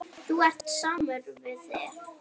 Þú ert samur við þig!